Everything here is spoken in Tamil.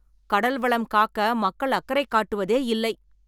கடல்வளம் காக்க மக்கள் அக்கறை காட்டுவதே இல்லை.